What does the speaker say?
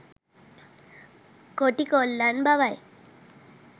කොටි කොල්ලන් බවයි.